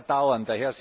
Es wird aber dauern.